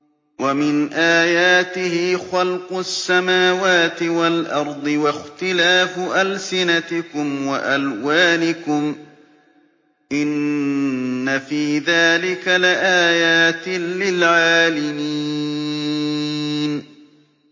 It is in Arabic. وَمِنْ آيَاتِهِ خَلْقُ السَّمَاوَاتِ وَالْأَرْضِ وَاخْتِلَافُ أَلْسِنَتِكُمْ وَأَلْوَانِكُمْ ۚ إِنَّ فِي ذَٰلِكَ لَآيَاتٍ لِّلْعَالِمِينَ